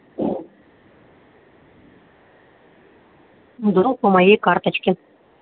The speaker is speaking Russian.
вдруг по моей карточке